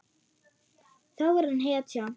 Þá er hann hetja.